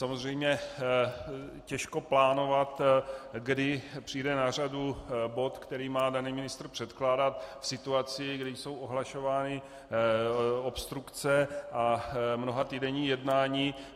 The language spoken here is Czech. Samozřejmě těžko plánovat, kdy přijde na řadu bod, který má daný ministr předkládat v situaci, kdy jsou ohlašovány obstrukce a mnohatýdenní jednání.